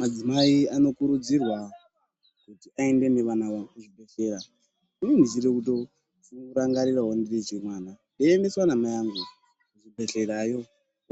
Madzimai anokurudzirwa kuti aende nevana vavo kuzvibhedhleya. Inini ndinotorangarirawo ndiri mwana mudoko, ndeiemeswa namai angu kuzvibhedhlerayo,